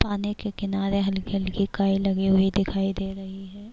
پانی ک کنارے ہلکی ہلکی کیے دکھایی دے رہی ہے-